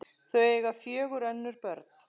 Þau eiga fjögur önnur börn.